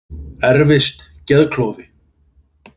Erfist geðklofi?